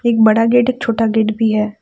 एक बड़ा गेट एक छोटा गेट भी है।